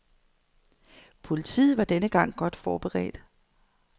Politiet var denne gang godt forberedt.